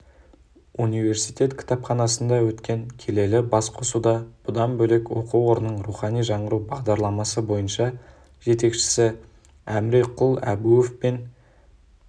университет кітапханасында өткен келелі басқосуда бұдан бөлек оқу орнының рухани жаңғыру бағдарламасы бойынша жетекшісі әміреқұл әбуов пен